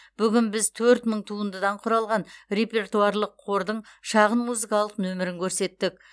бүгін біз төрт мың туындыдан құралған репертуарлық қордың шағын музыкалық нөмірін көрсеттік